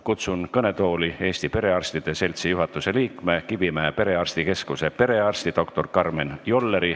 Kutsun kõnetooli Eesti Perearstide Seltsi juhatuse liikme, Kivimäe perearstikeskuse perearsti doktor Karmen Jolleri.